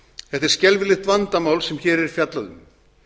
þetta er skelfilegt vandamál sem hér er fjallað um